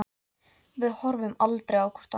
Við horfum aldrei á hvort annað.